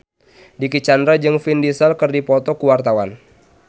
Dicky Chandra jeung Vin Diesel keur dipoto ku wartawan